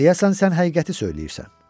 Deyəsən sən həqiqəti söyləyirsən.